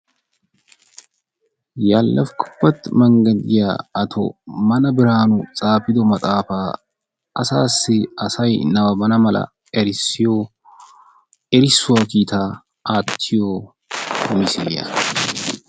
Yaalefukubbet menggedi giya mantta Mana Biraanu xaafido maxaafaa asaassi asay nabbabana mala erissiyo erissuwa kiitaa aattiyo misiliya.